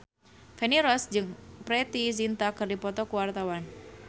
Feni Rose jeung Preity Zinta keur dipoto ku wartawan